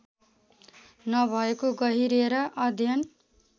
नभएको गहिरिएर अध्ययन